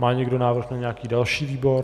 Má někdo návrh na nějaký další výbor?